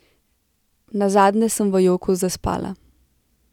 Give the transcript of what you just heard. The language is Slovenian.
Nazadnje sem v joku zaspala.